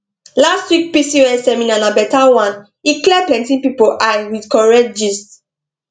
last week pcos seminar na better one e clear plenty people eye with correct gist